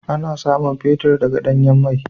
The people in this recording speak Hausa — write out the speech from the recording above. Ana samun fetir daga danyan mai.